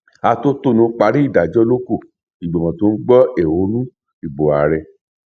àtòtọnú parí ìdájọ ló kù ìgbìmọ tó ń gbọ ẹhónú ìbò ààrẹ